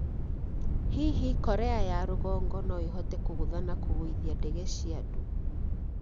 Hihi Korea ya Rũgongo no ĩhote kũgũtha na kũgũithia ndege cia andũ?